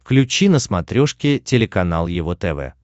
включи на смотрешке телеканал его тв